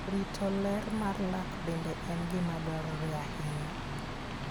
Rito ler mar lak bende en gima dwarore ahinya.